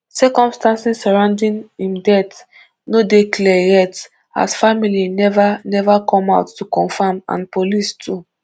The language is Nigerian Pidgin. circumstances surrounding im death no dey clear yet as family never never come out to confirm and police too